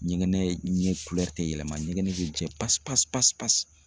Ɲɛgɛnɛn tɛ yɛlɛma ɲɛgɛnɛn bɛ jɛ pasi pasi pasi pasi.